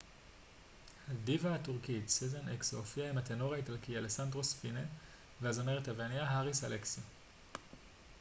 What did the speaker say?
הדיווה הטורקית סזן אקסו הופיעה עם הטנור האיטלקי אלסנדרו ספינה והזמרת היווניה האריס אלכסיו